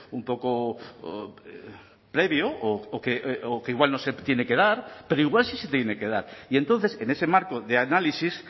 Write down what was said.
un poco previo o que igual no se tiene que dar pero igual sí se tiene que dar y entonces en ese marco de análisis